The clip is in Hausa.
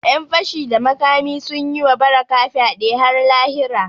Ƴan fashi da makami sun yi wa Barakah fyade har lahira